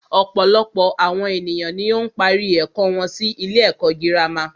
Ọ̀pọ̀lọpọ̀ àwọn ènìyàn ni ó ń parí ẹ̀kọ́ wọn sí ilé ẹ̀kọ́ gírámà.